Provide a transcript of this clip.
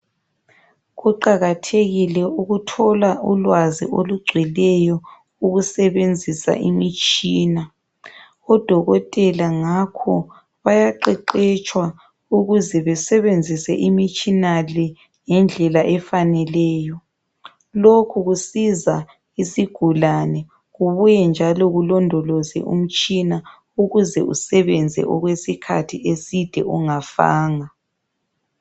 Kuqakathekile ukuthola ulwazi olugcweleyo ukusebenzisa imitshina. Odokotela ngakho bayaqeqetshwa ukuze besebenzise imitshina le ngendlela efaneleyo. Lokhu kusiza isigulane, kubuye njalo kulondoloze umtshina ukuze usebenze okwesikhathi eside ungafanga.